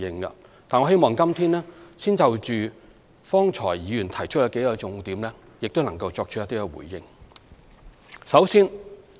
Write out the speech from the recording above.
但是，我希望今天先就剛才議員提出的數個重點作出一些回應。